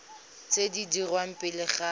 tse di dirwang pele ga